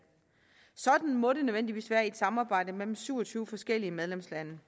sådan må det nødvendigvis være i et samarbejde mellem syv og tyve forskellige medlemslande